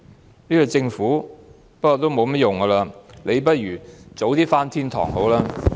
不過，這個政府已沒有甚麼作為，倒不如早日上天堂。